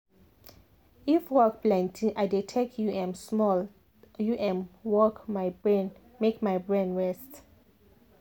if work plenty i dey take u m small u m walk my brain make my brain rest.